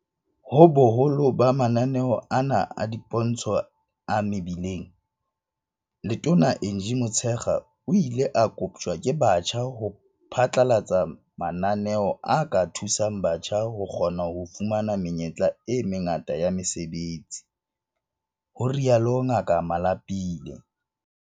Ho boholo ba mananeo ana a dipontsho a mebileng, Letona Angie Motshekga o ile a koptjwa ke batjha ho phatlalatsa mananeo a ka thusang batjha ho kgona ho fumana menyetla e mengata ya mesebetsi, ho rialo Ngaka Malapile.